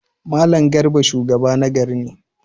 Mallam Garba shugaba ne na gari.